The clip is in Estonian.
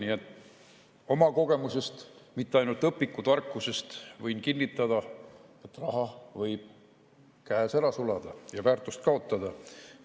Nii et oma kogemusest, mitte ainult õpikutarkusest võin kinnitada, et raha võib käes ära sulada ja väärtust kaotada.